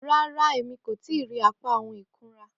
Ràrà, ẹ̀mí kò tìí irí àpá ohun ikùnrà.